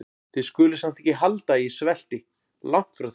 Þið skuluð samt ekki halda að ég svelti- langt því frá.